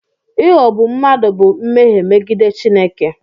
Ịghọgbu mmadụ bụ mmehie megide Chineke.